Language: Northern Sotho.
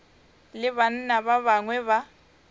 le banna ba bangwe ba